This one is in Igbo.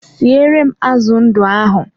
Siere m azụ ndụ ahụ!